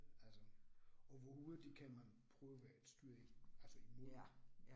Altså og hvor hurtigt kan man prøve at styre altså imod